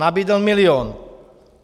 Nabídl milion.